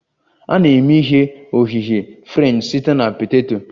A na-eme ihe oghighe french site na poteto